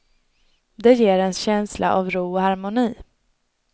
Det ger en känsla av ro och harmoni.